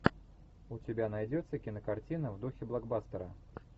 у тебя найдется кинокартина в духе блокбастера